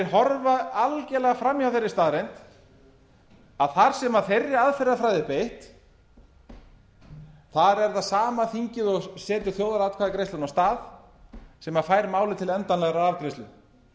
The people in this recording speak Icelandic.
horfa algerlega fram hjá þeirri staðreynd að þar sem þeirri aðferðafræði er beitt er það sama þingið og setur þjóðaratkvæðagreiðsluna af stað sem fær málið til endanlegrar afgreiðslu